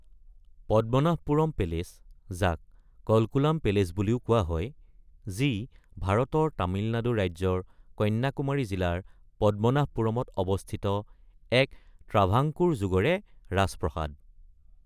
Padmanabhapuram palace, যাক Kalkulam palace বুলিও কোৱা হয়, যি ভাৰতৰ তামিলনাডু ৰাজ্যৰ কন্যাকুমাৰী জিলাৰ পদ্মনাভপুৰমত অৱস্থিত এক ট্ৰাভাংকোৰ যুগৰে ৰাজপ্ৰাসাদ।